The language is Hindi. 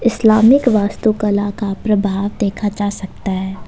इस्लामिक वास्तुकला का प्रभाव देखा जा सकता है।